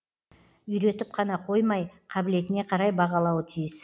үйретіп қана қоймай қабылетіне қарай бағалауы тиіс